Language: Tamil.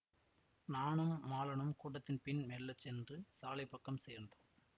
நானும் மாலனும் கூட்டத்தின் பின் மெல்ல சென்று சாலைப்பக்கம் சேர்ந்து